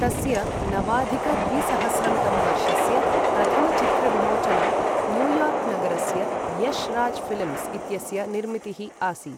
तस्य नवाधिक द्विसहस्रं तमवर्षस्य प्रथमचित्रविमोचनं न्यूयार्क् नगरस्य यश राज ऴिल्म्स् इत्यस्य निर्मितिः आसीत्।